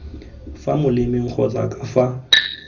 fa molemeng kgotsa ka fa